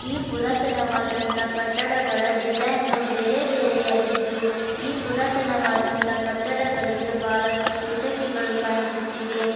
ಈ ಪುರಾತನವಾದಂತಾ ಕಟ್ಟಡಗಳ ಡಿಸೈನು ಬೇರೆ ಬೇರೆ ಆಗಿದ್ದು ಈ ಪುರತನವಾದಂತಾ ಕಟ್ಟಡಗಳಿಗೆ ಬಹಳಷ್ಟು ಕೀಟಕಿಗಳು ಕಾಣಿಸುತ್ತಿವೆ.